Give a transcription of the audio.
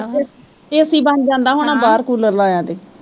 ਤੇ AC ਬਣ ਜਾਂਦਾ ਹੋਣਾ ਬਾਹਰ ਕੂਲਰ ਲਾਇਆਂ ਤੇ